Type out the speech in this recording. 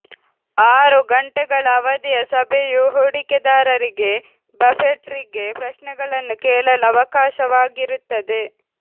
ಆರು ಗಂಟೆಗಳ ಅವಧಿಯ ಸಭೆಯು ಹೂಡಿಕೆದಾರರಿಗೆ ಬಫೆಟ್ರಿಗೆ ಪ್ರಶ್ನೆಗಳನ್ನು ಕೇಳಲು ಅವಕಾಶವಾಗಿರುತ್ತದೆ